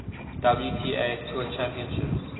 wta tour championships